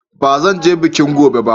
Ba zan je bikin gobe ba.